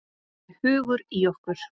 Það er hugur í okkur.